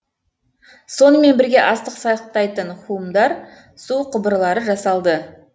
сонымен бірге астық сақтайтын хумдар су құбырлары жасалды